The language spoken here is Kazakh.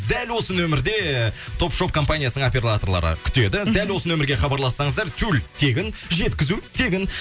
дәл осы нөмірде топ шоп компаниясының операторлары күтеді дәл осы нөмірге хабарлассаңыздар тюль тегін жеткізу тегін